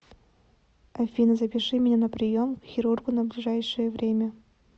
афина запиши меня на прием к хирургу на ближайшее время